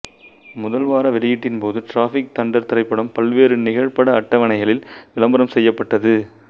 முதல் வார வெளியீட்ன் போது டிராபிக் தண்டர் திரைப்படம் பல்வேறு நிகழ்பட அட்டவணைகளில் விளம்பரம் செய்யப்பட்டது